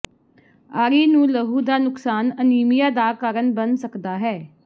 ਾਰੀ ਨੂੰ ਲਹੂ ਦਾ ਨੁਕਸਾਨ ਅਨੀਮੀਆ ਦਾ ਕਾਰਨ ਬਣ ਸਕਦਾ ਹੈ